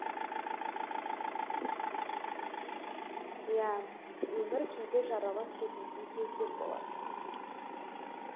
иә өмір кейде жаралап кететін кездер болады